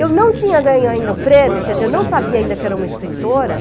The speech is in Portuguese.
Eu não tinha ganho ainda o prêmio, quer dizer, eu não sabia ainda que era uma escritora.